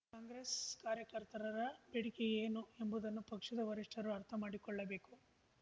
ಕಾಂಗ್ರೆಸ್ ಕಾರ್ಯಕರ್ತರರ ಬೇಡಿಕೆ ಏನು ಎಂಬುದನ್ನು ಪಕ್ಷದ ವರಿಷ್ಠರು ಅರ್ಥ ಮಾಡಿಕೊಳ್ಳಬೇಕು